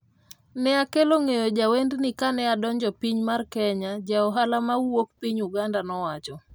"ne akelo ng'eyo jawendni kane adonjo piny mar Kenya",ja ohala mawuok Piny Uganda nowacho.